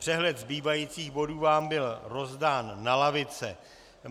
Přehled zbývajících bodů vám byl rozdán na lavice.